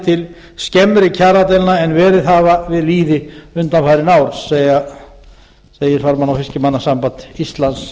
til skemmri kjaradeilna en verið hafa við lýði undanfarið segir farmanna og fiskimannasamband íslands